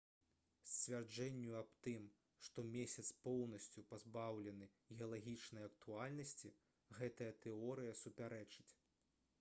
сцвярджэнню аб тым што месяц поўнасцю пазбаўлены геалагічнай актыўнасці гэтая тэорыя супярэчыць